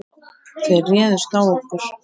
Þeir réðust á okkur.